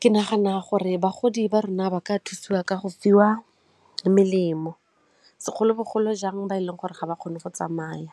Ke nagana gore bagodi ba rona ba ka thusiwa ka go fiwa melemo segolobogolo jang ba e leng gore ga ba kgone go tsamaya.